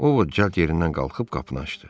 Ovod cəld yerindən qalxıb qapını açdı.